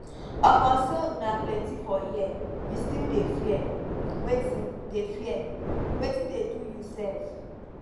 upon say una plenty for here you still dey fear wetin dey fear wetin dey do you sef